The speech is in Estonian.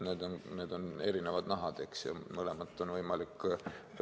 Need on erinevad nahad, eks, ja mõlemat on võimalik ...